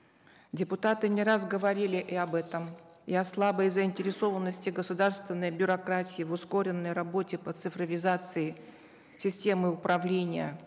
депутаты не раз говорили и об этом и о слабой заинтересованности государственной бюрократии в ускоренной работе по цифровизации системы управления